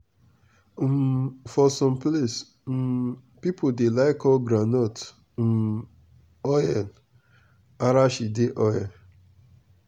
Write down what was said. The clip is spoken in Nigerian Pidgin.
um for some place um people dey like call groundnut um oil “arachide oil.”